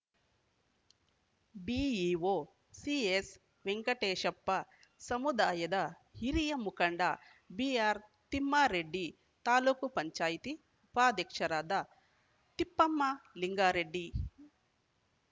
BEO CS Venkateshappa ಸಮುದಾಯದ ಹಿರಿಯ ಮುಖಂಡ ಬಿಆರ್‌ ತಿಮ್ಮಾರೆಡ್ಡಿ ತಾಲೂಕ್ ಪಂಚಾಯತಿ ಉಪಾಧ್ಯಕ್ಷರಾದ ತಿಪ್ಪಮ್ಮ ಲಿಂಗಾರೆಡ್ಡಿ